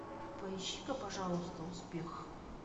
поищи ка пожалуйста успех